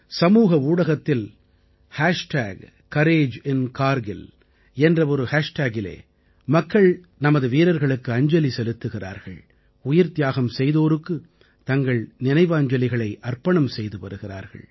சமூக ஊடகத்தில் கோரேஜின்கார்கில் என்ற ஒரு ஹேஷ்டேகிலே மக்கள் நமது வீரர்களுக்கு அஞ்சலி செலுத்துகிறார்கள் உயிர்த்தியாகம் செய்தோருக்கு தங்கள் நினைவாஞ்சலிகளை அர்ப்பணம் செய்து வருகிறார்கள்